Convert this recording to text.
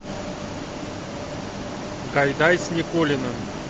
гайдай с никулиным